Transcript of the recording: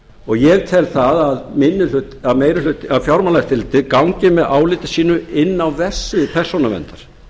og ég tel það að fjármálaeftirlitið gangi með áliti sínu inn á verksvið persónuverndar